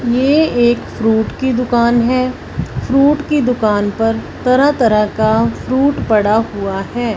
ये एक फ्रूट की दुकान है फ्रूट की दुकान पर तरह तरह का फ्रूट पड़ा हुआ है।